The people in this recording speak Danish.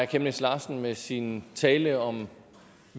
chemnitz larsen med sin tale om